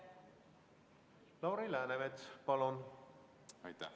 Lauri Läänemets, palun!